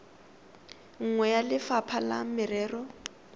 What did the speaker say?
nngwe ya lefapha la merero